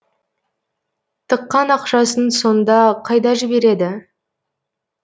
тыққан ақшасын сонда қайда жібереді